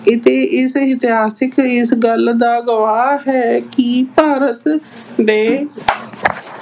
ਇਸ ਅਹ ਇਤਿਹਾਸਿਕ ਇਸ ਗੱਲ ਦਾ ਗਵਾਹ ਹੈ ਕਿ ਭਾਰਤ ਦੇ